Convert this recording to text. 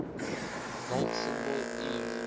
volt symbol ev